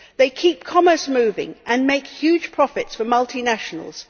They keep commerce moving and make huge profits for multinationals.